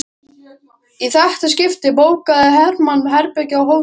Í þetta skipti bókaði Hermann herbergi á Hótel Borg.